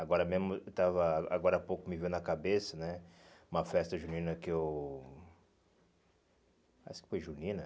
Agora mesmo eu estava agora há pouco me veio na cabeça né uma festa junina que eu... Acho que foi junina.